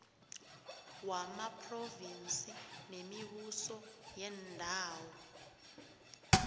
wamaphrovinsi nemibuso yeendawo